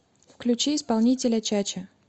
включи исполнителя чача